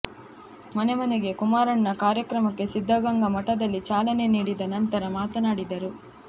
ಮನೆಮನೆಗೆ ಕುಮಾರಣ್ಣ ಕಾರ್ಯಕ್ರಮಕ್ಕೆ ಸಿದ್ದಗಂಗಾ ಮಠದಲ್ಲಿ ಚಾಲನೆ ನೀಡಿದ ನಂತರ ಮಾತನಾಡಿದರು